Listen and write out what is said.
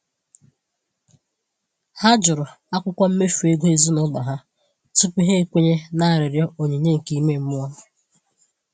Ha jụrụ akwụkwọ mmefu ego ezinụlọ ha tupu ha ekwenye na arịrịọ onyinye nke ime mmụọ.